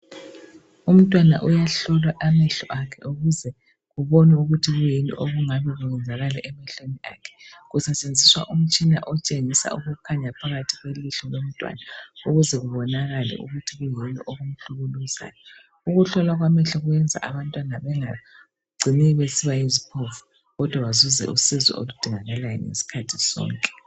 Umntwana uyehlolwa amehlo akhe ukuze kubonwe ukuthi kuyini okungabe kusenzakala emehlweni akhe. kusetshenziswa umtshina otshengisa ukukhanya phakathi kwelihlo lomntwana ukuze kubonakale ukuthi kuyini okumhlukuluzayo. Ukuhlolwa kwamehlo kuyenza abantwana bangacini besiba yiziphofu kodwa bathole usizo ngezikhathi zonke